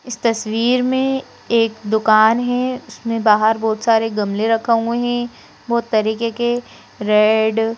इस तस्वीर में एक दुकान है उसमें बाहर बहुत सारे गमले रखा हुए हैं बहुत तरीके के रेड --